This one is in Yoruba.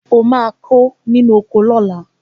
O máa kó inú oko náà